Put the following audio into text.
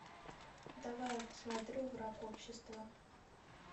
давай я посмотрю враг общества